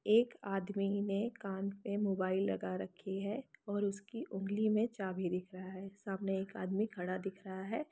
एक आदमी ने कान पे मोबाइल लगा रखी हैं और उसकी ऊँगली पे चाबी दिख रहा है सामने एक आदमी खड़ा दिख रहा है।